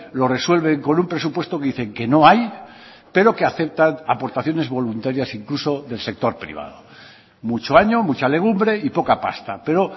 lo resuelven con un presupuesto que dicen que no hay pero que aceptan aportaciones voluntarias incluso del sector privado mucho año mucha legumbre y poca pasta pero